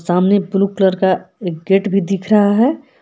सामने blue colour का एक गेट भी दिख रहा है।